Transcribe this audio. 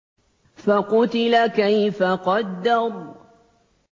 فَقُتِلَ كَيْفَ قَدَّرَ